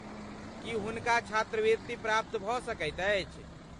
की हुनका छात्रवृत्ति प्राप्त भऽ सकैत अछि?